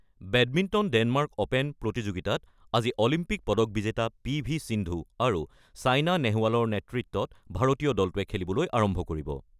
বেডমিণ্টনত Denmark open প্ৰতিযোগিতাত আজি Olympic পদক বিজেতা পি ভি সিন্ধু আৰু ছেইনা নেহৱালৰ নেতৃত্বত ভাৰতীয় দলটোৱে খেলিবলৈ আৰম্ভ কৰিব।